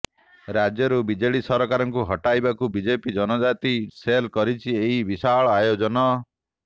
ରାଜ୍ୟରୁ ବିଜେଡି ସରକାରଙ୍କୁ ହଟାଇବାକୁ ବିଜେପି ଜନଜାତି ସେଲ୍ କରିଛି ଏହି ବିଶାଳ ଆୟୋଜନ